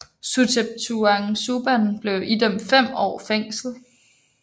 Suthep Thaugsuban blev idømt fem år fængsel